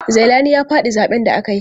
Zailani ya faɗi zaɓen da aka yi.